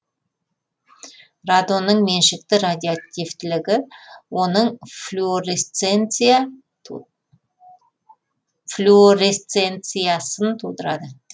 радонның меншікті радиоактивтілігі оның флюоресценциясын тудырады